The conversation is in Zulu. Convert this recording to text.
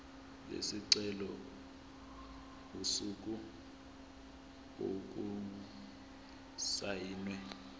lesicelo usuku okusayinwe